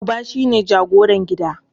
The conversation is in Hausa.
Uba shine jagoran gida.